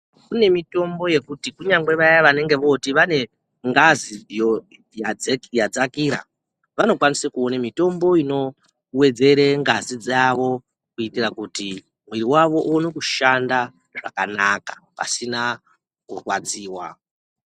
Kune mitombo yekuti kunyange vaya vanenge vooti vanengazi yadzakira. Vanokwanise kuone mitombo inowedzere ngazi dzavo kuitira kuti muiri wavo uone kushanda zvakanaka, pasina kurwadziwa.